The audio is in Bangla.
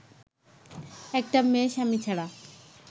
একটা মেয়ে স্বামী ছাড়া